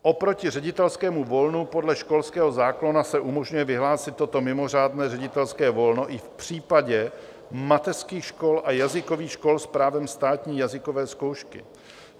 Oproti ředitelskému volnu podle školského zákona se umožňuje vyhlásit toto mimořádné ředitelské volno i v případě mateřských škol a jazykových škol s právem státní jazykové zkoušky.